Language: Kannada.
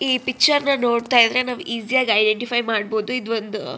ಈ ಪಿಕ್ಚರ್ ನ ನೋಡ್ತಾ ಇದ್ರೆ ನಾವ್ ಇಸ್ಸಿ ಯಾಗ್ ಐಂಡೆಟಿಫೈ ಮಾಡ್ಬಹುದು ಇದೊಂದು--